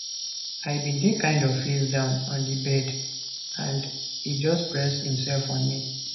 i bin dey kind of face down on di bed and e just press imsef on me